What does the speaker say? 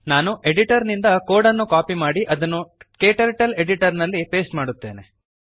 ನಾನು ಎಡಿಟರ್ ನಿಂದ ಕೋಡ್ ಅನ್ನು ಕಾಪಿ ಮಾಡಿ ಅದನ್ನು ಕ್ಟರ್ಟಲ್ ಎಡಿಟರ್ ನಲ್ಲಿ ಪೇಸ್ಟ್ ಮಾಡುತ್ತೇನೆ